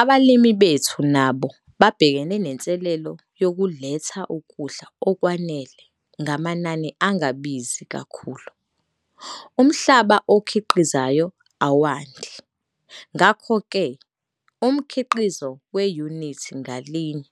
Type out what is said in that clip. Abalimi bethu nabo babhekene nenselelo yokuletha ukudla okwanele ngamanani angabizi kakhulu. Umhlaba okhiqizayo awandi, ngakho ke umkhiqizo weyunithi ngalinye